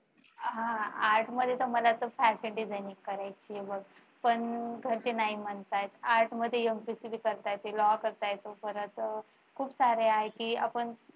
art मध्ये तर मला असं fashion designing करायचे पण घरचे नाही म्हणतात art मध्ये MPSC करता येते law करता येतो परत खूप सारे आहे की आपण